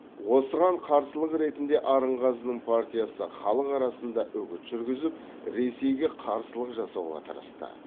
осыған қарсылық ретінде арынғазының партиясы халық арасында үгіт жүргізіп ресейге қарсылық жасауға тырысты